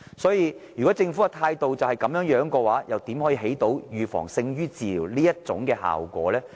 因此，如果政府的態度是這樣的話，又如何達致預防勝於治療這效果呢？